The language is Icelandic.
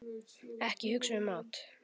Ekki hugsa um mat!